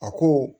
A ko